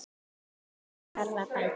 Úr þessu þarf að bæta!